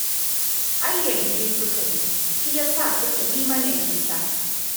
Ai yanke suka yi, shi ya sa suka yi mana nisa